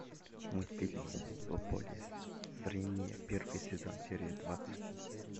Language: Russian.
мультфильм в поле зрения первый сезон серия двадцать